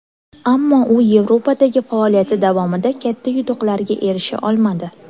Ammo u Yevropadagi faoliyati davomida katta yutuqlarga erisha olmadi.